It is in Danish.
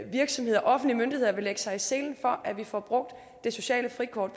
virksomheder og offentlige myndigheder vil lægge sig i selen for at vi får brugt det sociale frikort